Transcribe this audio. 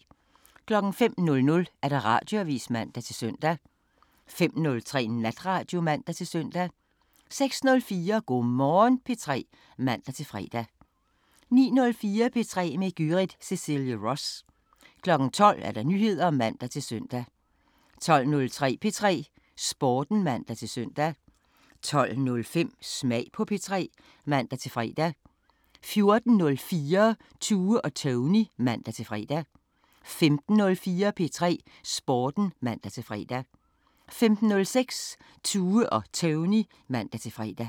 05:00: Radioavisen (man-søn) 05:03: Natradio (man-søn) 06:04: Go' Morgen P3 (man-fre) 09:04: P3 med Gyrith Cecilie Ross 12:00: Nyheder (man-søn) 12:03: P3 Sporten (man-søn) 12:05: Smag på P3 (man-fre) 14:04: Tue og Tony (man-fre) 15:04: P3 Sporten (man-fre) 15:06: Tue og Tony (man-fre)